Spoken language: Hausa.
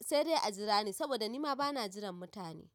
sai dai a jira ni saboda nima bana jiran mutane.